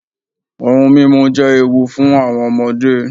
Ohun mímú jẹ́ ewu fún àwọn ọmọdé.